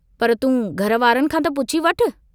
पर तूं घर वारनि खां त पुछी वठु।